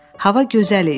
Hava gözəl idi.